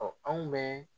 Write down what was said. anw bɛ